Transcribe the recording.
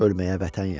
ölməyə vətən yaxşı.